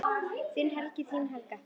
Þinn Helgi og þín Helga.